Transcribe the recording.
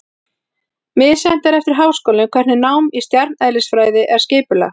Misjafnt er eftir háskólum hvernig nám í stjarneðlisfræði er skipulagt.